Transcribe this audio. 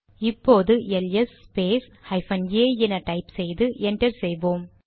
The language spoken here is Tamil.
இப்போது எல்எஸ் ஸ்பேஸ் ஹைபன் ஏ என டைப் செய்து என்டர் செய்வோம்